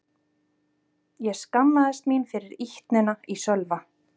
Ég skammaðist mín fyrir ýtnina í Sölva.